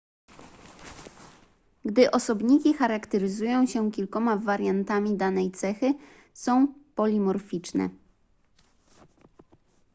gdy osobniki charakteryzują się kilkoma wariantami danej cechy są polimorficzne